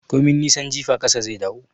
Komin nisan jifa ƙasa zai dawo